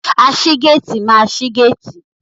Aṣígéétìì máa ṣi géétìì.